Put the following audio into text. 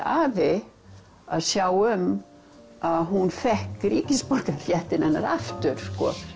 afi að sjá um að hún fengi ríkisborgararéttinn aftur